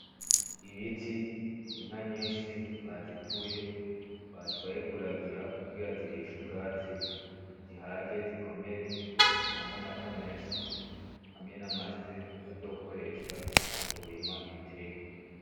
Ibiti, inka nyinshi bazituye batwaye kuragira kugira zirishe ubwatsi zihage zikomere zitange amata menshi, hamwe n'amase bazokoresha mukurima ibitegwa.